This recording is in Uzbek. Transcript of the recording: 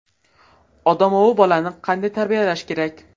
Odamovi bolani qanday tarbiyalash kerak?.